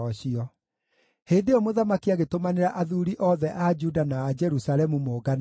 Hĩndĩ ĩyo mũthamaki agĩtũmanĩra athuuri othe a Juda na a Jerusalemu mongane hamwe.